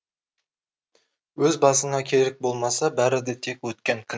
өз басыңа керек болмаса бәрі де тек өткен күн